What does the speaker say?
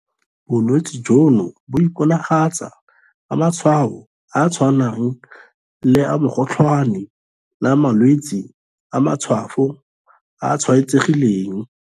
Bolwetse jono bo iponagatsa ka matshwao a a tshwanang le a mokgotlhwane le a malwetse a matshwafo a a tshwaetsegileng.